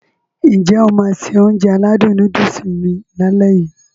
N jẹ́ o máá se Ounjẹ aládùn nóódùsì mi lálẹ́ yii?